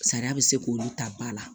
Sariya bɛ se k'olu ta ba la